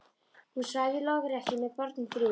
Hún svaf í lokrekkju með börnin þrjú.